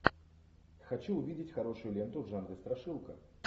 хочу увидеть хорошую ленту в жанре страшилка